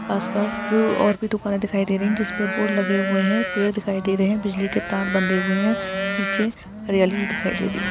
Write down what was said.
आस-पास जू और भी दुकाने दिखाई रही है जिसपे बोर्ड लगे हुए है पेड़ दिखाई दे रहे है बिजली के तार बंधे हुए है नीचे हरयाली भी दिखाई दे रही है।